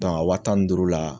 a wa tan ni duuru la